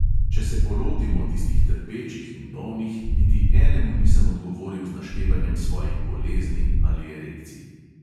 Če se polotimo tistih trpečih in bolnih, niti enemu nisem odgovoril z naštevanjem svojih bolezni ali erekcij.